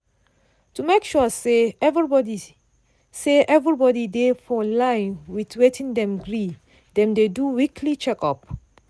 to make sure say everybody say everybody dey for line with wetin dem gree dem dey do weekly check-up.